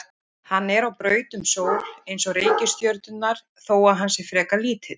Hann er á braut um sól eins og reikistjörnurnar þó að hann sé frekar lítill.